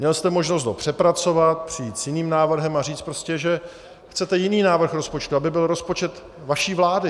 Měl jste možnost ho přepracovat, přijít s jiným návrhem a říct prostě, že chcete jiný návrh rozpočtu, aby byl rozpočet vaší vlády.